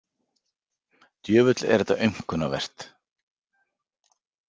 Djöfull er þetta aumkunarvert.